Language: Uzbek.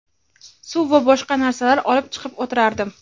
suv va boshqa narsalar olib chiqib o‘tirardim.